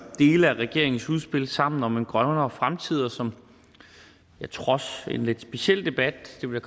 dele af regeringens udspil sammen om en grønnere fremtid og som jeg trods en lidt speciel debat det vil